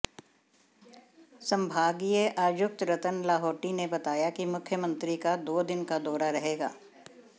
संभागीय आयुक्त रतन लाहोटी ने बताया कि मुख्यमंत्री का दो दिन का दौरा रहेगा